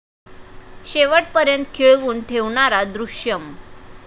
शेवटपर्यंत खिळवून ठेवणारा 'दृश्यम'